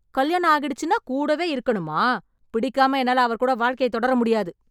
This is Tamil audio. கல்யாணம் ஆகிடுச்சுனா கூடவே இருக்கணுமா, பிடிக்காம என்னால அவர் கூட வாழ்க்கையத் தொடர முடியாது.